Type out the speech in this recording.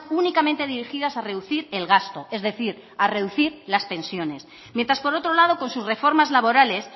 únicamente dirigidas a reducir el gasto es decir a reducir las pensiones mientras por otro lado con sus reformas laborales